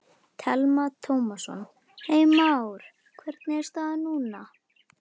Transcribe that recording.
Telma Tómasson: Heimir Már, hvernig er staðan núna?